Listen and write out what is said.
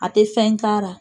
A tɛ fɛn k'ara